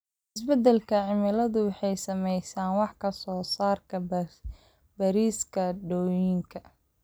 Isbeddelka cimiladu wuxuu saameeyay wax soo saarka bariiska dooxooyinka.